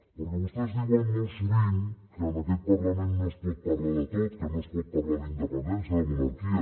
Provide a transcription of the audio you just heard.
perquè vostès diuen molt sovint que en aquest parlament no es pot parlar de tot que no es pot parlar d’independència de monarquia